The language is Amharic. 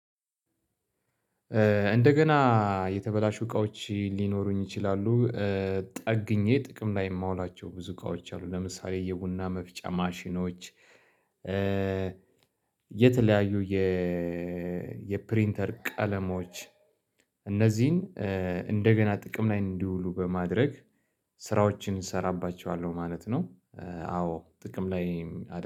እንደገና የተበላሹ እቃዎች ሊኖሩኝ ይችላሉ። ጠግኜ ጥቅም ላይ የማውላቸው ብዙ እቃዎች አሉ ለምሳሌ የቡና መፍጫ ማሽኖች የተለያዩ የፕሪንተር ቀለሞች እነዚህን እንደገና ጥቅም ላይ እንዲውሉ በማድረግ ስራዎችን እሰራባቸዋለሁ ማለት ነው፤። አዎ ጥቅም ላይ